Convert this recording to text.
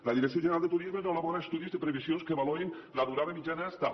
la direcció general de turisme no elabora estudis de previsions que valorin que la durada mitjana és tal